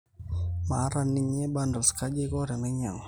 maata ninye bundles kaji aiko tenainyagu